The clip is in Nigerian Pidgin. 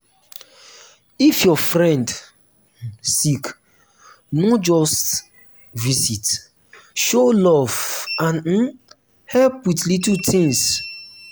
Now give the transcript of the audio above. if your um friend sick no just visit show love and um help with little things.